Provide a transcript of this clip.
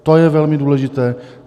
To je velmi důležité.